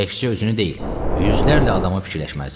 Təkcə özünü deyil, yüzlərlə adamı fikirləşməlisən.